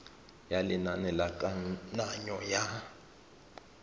ya lenane la kananyo ya